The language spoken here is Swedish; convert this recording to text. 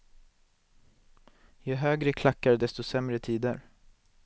Ju högre klackar desto sämre tider.